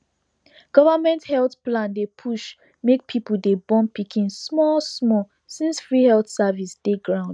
government health plan dey push make people dey born pikin small small since free health service dey ground